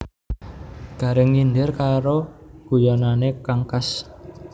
Gareng nyindir karo guyonane kang khas